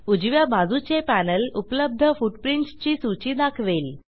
उजव्या बाजूचे पॅनेल उपलब्ध फुटप्रिंट्स ची सूची दाखवेल